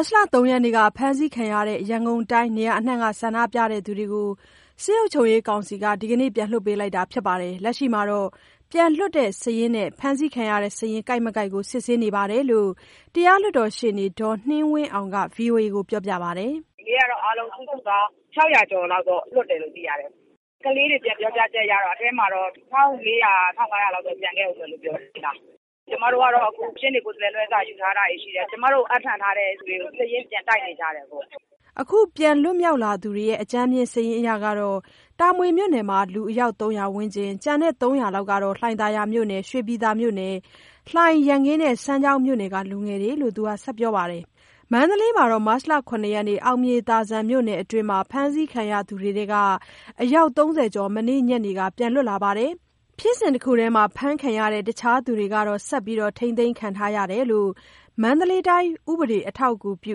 တ်လ ၃ ရက်က ဖမ်းဆီးခံရတဲ့ ရန်ကုန်တိုင်း နေရာအနှံ့က ဆန္ဒပြသူတွေကို စစ်အုပ်ချုပ်ရေးကောင်စီက ဒီကနေ့ ပြန်လွှတ်ပေးလိုက်တာဖြစ်ပြီး လက်ရှိတော့ ပြန်လွတ်လာတဲ့ စာရင်းနဲ့ ဖမ်းဆီးခံရတဲ့ စာရင်းကိုက်မကိုက်ကို စစ်ဆေးမှုတွေ ပြန်လုပ်နေကြောင်း တရားလွှတ်တော်ရှေ့နေ ဒေါ်နှင်းဝင်းအောင်က ဗွီအိုအေကို ပြောပါတယ်။ “ဒီနေ့ကတော့ အားလုံးစုစုပေါင်း ၆၀၀ ကျော်လောက် လွတ်တယ်လို့ သိရတယ်။ ကလေးတွေ ပြန်ပြောချက်အရ အထဲမှာတော့ ၁,၄၀၀၊ ၁,၅၀၀ လောက် ကျန်ခဲ့တယ်လို့ ပြောတယ်။ ကျမတို့ကတော့ အခု ရှေ့နေ ကိုယ်စားလှယ် လွှဲစာတွေ ယူထားတာရှိတယ်။ ကျမတို့ကို အပ်နှံထားသူတွေကို စာရင်းပြန်တိုက်နေကြတယ်ပေါ့။” အကြမ်းဖျင်းစာရင်း အရတော့ တာမွေမြို့နယ်က လူယောက် ၃၀၀ ဝန်းကျင်၊ ကျန်တဲ့ ၃၀၀ လောက်ကတော့ လှိုင်သာယာ၊ ရွှေပြည်သာ၊ လှိုင်၊ ရန်ကင်း၊ စမ်းချောင်းက လူငယ်တွေလို့ သူကပြောပါတယ်။ မန္တလေးမှာတော့ မတ်လ ၇ ရက် အောင်မြေသာဇံမြို့နယ်အတွင်း ဖမ်းဆီးခံရတဲ့သူတွေထဲက အယောက် ၃၀ ကျော် မနေ့ညနေက ပြန်လွတ်လာပြီး ဖြစ်စဉ်တခုထဲ ဖမ်းခံရတဲ့ အခြားသူကတော့ ဆက်ထိန်းသိမ်းခံထားရကြောင်း မန္တလေး ဥပဒေ အထောက်အကူပြု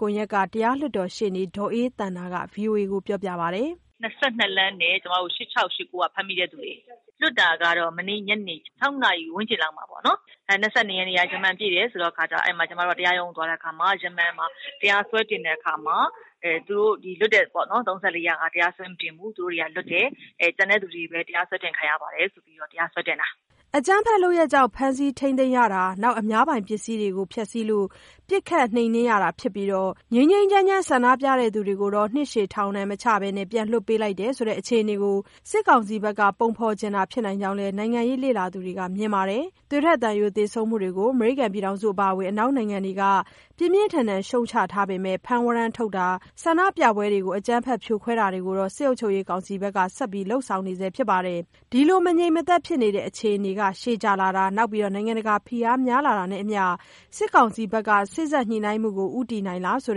ကွန်ရက်က တရားလွှတ်တော်ရှေ့နေ ဒေါ်အေးသန္တာက ဗွီအိုအေကို ပြောပါတယ်။ “၂၂ လမ်းနဲ့ ၈၆ x ၈၉ က ဖမ်းမိတဲ့သူတွေ၊ လွှတ်တာကတော့ မနေ့ညနေ ၆ နာရီ ဝန်းကျင်လောက်မှာပေါ့နော်၊ ၂၂ ရက်က ရမ္မာန်ပြည့်တယ်ဆိုတော့ ကျမတို့ တရားရုံး သွားတဲ့အခါမှာ ရမ္မာန်မှာ တရားစွဲတင်တဲ့အခါမှာ ၃၄ ယောက်ဟာ တရားစွဲမတင်ဘူး လွတ်တယ်။ ကျန်တဲ့သူတွေပဲ တရားစွဲတင် ခံရပါတယ်ဆိုပြီး တရားစွဲတင်တာ။” အကြမ်းဖက်လုပ်ရပ်တွေကြောင့် ဖမ်းဆီးထိန်းသိမ်းရတာ၊ အများပိုင်ပစ္စည်းတွေကို ဖျက်စီးလို့ ပစ်ခတ်နှိမ်နင်းရတာဖြစ်ပြီး ငြိမ်းငြိမ်းချမ်းချမ်း ဆန္ဒပြသူတွေကိုတော့ နှစ်ရှည်ထောင်ဒဏ်မချဘဲ အခုလို ပြန်လွှတ်ပေးတယ်ဆိုတဲ့ အခြေအနေကို စစ်ကောင်စီဘက်က ပုံဖော်ချင်တာဖြစ်နိုင်ကြောင်း နိုင်ငံရေး လေ့လာသူတချို့က မြင်ပါတယ်။ သွေးထွက်သံယို သေဆုံးမှုတွေကို အမေရိကန် အပါအဝင် အနောက်နိုင်ငံတွေက ပြင်းပြင်းထန်ထန် ရှုတ်ချထားပေမဲ့ ဖမ်းဝရမ်းထုတ်တာတွေ၊ ဆန္ဒပြပွဲတွေကို ဖြိုခွဲတာတွေ ကိုတော့ စစ်အုပ်ချုပ်ရေး ကောင်စီဘက်က ဆက်လုပ်နေဆဲ ဖြစ်ပါတယ်။ ဒီလိုမငြိမ်မသက်ဖြစ်နေတဲ့ အခြေအနေ ရှည်ကြာလာတာ၊ နိုင်ငံတကာဖိအားတွေ များလာတာနဲ့အမျှ စစ်ကောင်စီဘက်က စေ့စပ်ညှိနှိုင်းမှုကို ဦးတည်နေပြီလား ဆို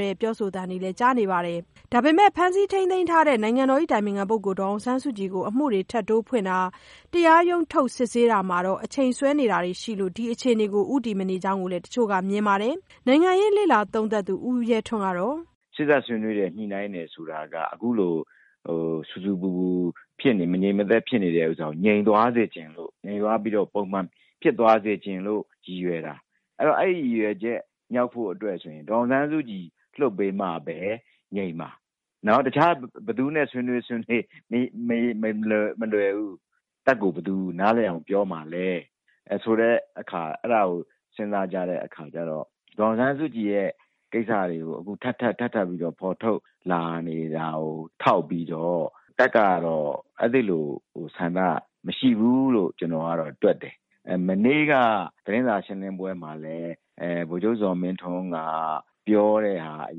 တဲ့ပြောဆိုသံတွေလည်း ကြားနေရပါတယ်။ ဒါပေမဲ့ ဖမ်းဆီးထိမ်းသိမ်းထားတဲ့ နိုင်ငံတော်အတိုင်ပင်ခံ ဒေါ်အောင်ဆန်းစုကြည်ကို အမှုတွေထပ်တိုးဖွင့်တာ၊ တရားရုံးထုတ် စစ်ဆေးတာမှာ အချိန်ဆွဲနေတာတွေက ဒီအခြေအနေကို ဦးတည်မနေကြောင်းလည်း တချို့က မြင်ပါတယ်။ နိုင်ငံရေး လေ့လာသုံးသပ်သူ ဦးရဲထွန်းကတော့… “စေ့စပ်ညှိနှိုင်းတယ်၊ ဆွေးနွေးတယ်ဆိုတာက အခုလို ဆူဆူပူပူ မငြိမ်မသက် ဖြစ်နေတာကို ငြိမ်သွားစေချင်လို့၊ ငြိမ်သွားပြီး ပုံမှန်ဖြစ်သွား စေချင်လို့ ရည်ရွယ်တာ။ အဲဒီရည်ရွယ်ချက် မြောက်ဖို့ဆိုရင် ဒေါ်အောင်ဆန်းစုကြည်ကို လွှတ်ပေးမှပဲ ငြိမ်မှာ။ တခြား ဘယ်သူနဲ့ ဆွေးနွေးဆွေးနွေး မလွယ်ဘူး။ တပ်ကိုဘယ်သူ နားလည်အောင် ပြောမှာလဲဆိုတာကို စဉ်းစားကြတဲ့အခါမှာ ဒေါ်အောင်ဆန်းစုကြည်ရဲ့ ကိစ္စကို ထပ်ထပ်ပြီး ဖော်ထုတ်လာနေတာကို ထောက်ပြီးတော့ တပ်ကတော့ အဲဒီလိုဆန္ဒ မရှိဘူးလို့ ကျနော်ကတော့ တွက်တယ်။ မနေ့က သတင်းစာ ရှင်းလင်းပွဲမှာလည်း ဗိုလ်ချုပ် ဇော်မင်းထွန်းက ပြောတဲ့ဟာအ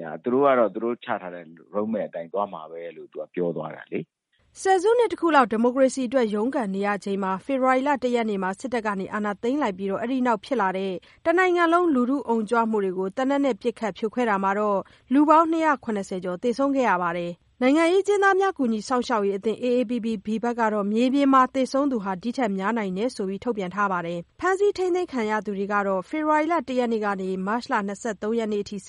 ရ သူတို့ကတော့ သူတို့ချထားတဲ့ မူ road map အတိုင်းပဲ သွားမှာပဲလို့ ပြောသွားတာလေ။” ဆယ်စုနှစ်တခုလောက် ဒီမိုကရေစီအတွက် ရုန်းကန်နေရချိန် ဖေဖော်ဝါရီ ၁ ရက်မှာ စစ်တပ်က အာဏာသိမ်းလိုက်ပြီး အဲဒီနောက် ဖြစ်လာတဲ့ တနိုင်ငံလုံး လူထုအုံကြွမှုတွေကို သေနတ်နဲ့ပစ်ခတ် ဖြိုခွဲတာမှာ လူပေါင်း ၂၇၀ ကျော် သေဆုံးခဲ့ပြီး နိုင်ငံရေးအကျဉ်းသားများ ကူညီစောင့်ရှောက်ရေးအသင်း AAPPB ဘက်ကတော့ မြေပြင်မှာတော့ သေဆုံးသူ ဒီထက်များနိုင်တယ်လို့ ရေးသားထားပါတယ်။ ဖမ်းဆီး ထိန်းသိမ်းခံရတဲ့သူကတော့ ဖေဖော်ဝါရီ ၁ ရက်နေ့ကနေ မတ်လ ၂၃ ရက်အထိ စ